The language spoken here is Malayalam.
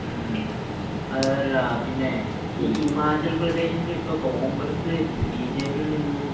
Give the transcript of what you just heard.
മ്മ് മ്മ്ഹ്. അതല്ല പിന്നെ ഈ ഹിമാചൽ പ്രദേശിൽ ഇപ്പൊ കോൺഗ്രസ് ബിജെപി യിൽ നിന്നും